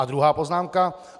A druhá poznámka.